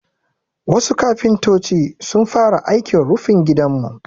Wasu kafintoci sun fara aikin rufin gidanmu.